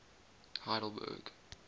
heidelberg